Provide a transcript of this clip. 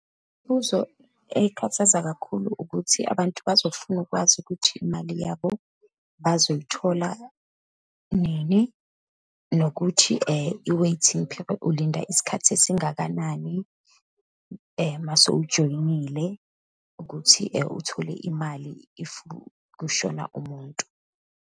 Imibuzo ekhathaza kakhulu ukuthi abantu bazofuna ukwazi ukuthi imali yabo bazoyithola nini, nokuthi i-waiting period, ulinda isikhathi esingakanani uma sewujoyinile ukuthi uthole imali if kushona umuntu.